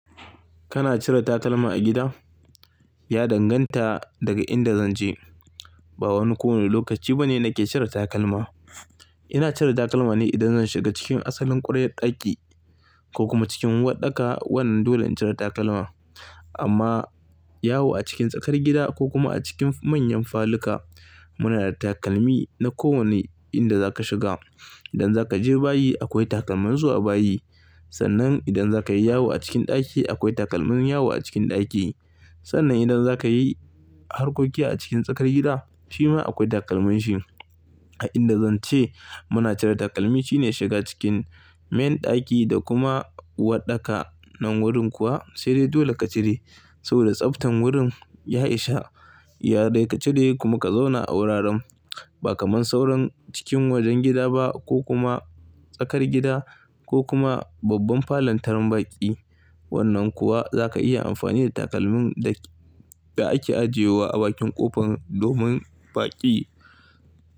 Kana cire takalma a gida? Ya danganta daga inda zan je. Ba wani kowane lokaci ba ne nake cire takalma. Ina cire takalma ne idan zan shiga cikin asalin ƙwaryar ɗaki ko kuma cikin uwaɗɗaka. Wannan dole in cire takalma. Amma yawo a cikin tsakar gida ko kuma a cikin manyan faluka, muna da takalmi na kowane inda zaka shiga. Idan zaka je bayi akwai takalman zuwa bayi. Sannan idan zakayi yawo a cikin ɗaki akwai takalman yawo a cikin ɗaki. Sannan idan zakayi harkoki a cikin tsakar gida shima akwai takalmin shi. A inda zan ce muna cire takalmi shine shiga cikin main ɗaki da kuma uwaɗɗaka nan wurin kuwa sai dai dole ka cire. Saboda tsaftan wurin ya isa, ya dai ka cire kuma ka zauna a wuraren. Ba kamar sauran cikin wajen gida ba ko kuma tsakar gida ko kuma babban falon tarin baƙi. Wannan kuwa zaka iya amfani da takalmin da ake ajiyewa a bakin ƙofan domin baƙi.